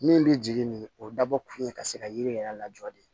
Min bɛ jigin nin o ye dabɔ kun ye ka se ka yiri yɛrɛ lajɔ de